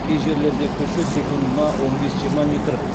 кей жерлерде күші секундына он бес жиырма метр